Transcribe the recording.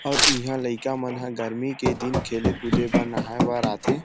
और ईहा लईका मन ह गर्मी के दिन खेले कूदे बर नहाये बर आथे ।